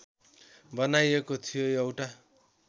बनाइएको थियो एउटा